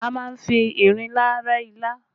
A má ń fi ìrinlá rẹ́ ilá